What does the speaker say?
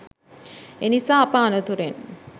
එනිසා අප අනතුරෙන්